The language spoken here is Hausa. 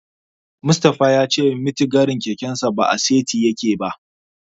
Mustapha ya ce mitigarin kekensa ba a saiti yake ba.